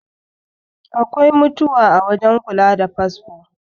Akwai mutuwa a wajen kula da fasfo